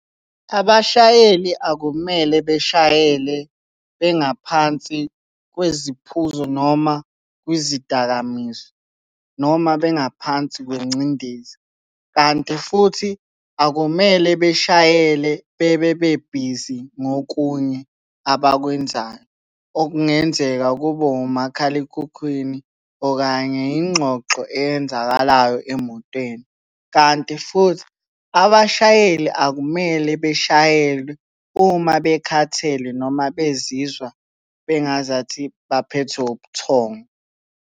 Abashayeli akumele beshayele bengaphansi kweziphuzo noma kwizidakamizwa noma bengaphansi kwengcindezi, kanti futhi akumele beshayele bebe bebhizi ngokunye abakwenzayo. Okungenzeka kube umakhalekhukhwini okanye yingxoxo eyenzakalayo emotweni, kanti futhi abashayeli akumele beshayele uma bekhathele noma bezizwa bengazathi baphethwe ubuthongo.